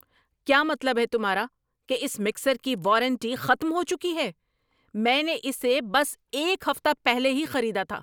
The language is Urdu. کیا مطلب ہے تمہارا کہ اس مکسر کی وارنٹی ختم ہو چکی ہے؟ میں نے اسے بس ایک ہفتہ پہلے ہی خریدا تھا!